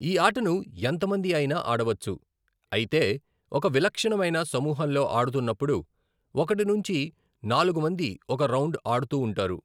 ఈ ఆటను ఎంతమంది అయినా ఆడవచ్చు, అయితే ఒక విలక్షణమైన సమూహంలోఆడుతున్నపుడు, ఒకటి నుంచి నాలుగు మంది ఒక రౌండ్ ఆడుతూవుంటారు.